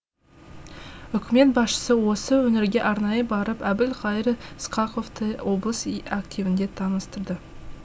үкімет басшысы осы өңірге арнайы барып әбілқайыр сқақовты облыс активінде таныстырды